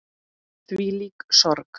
Þvílík sorg.